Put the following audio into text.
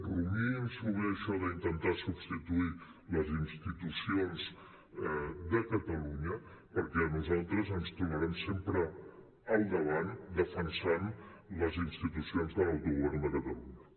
rumiïn s’ho bé això d’intentar substituir les institucions de catalunya perquè a nosaltres ens trobaran sempre al davant defensant les institucions de l’autogovern de catalunya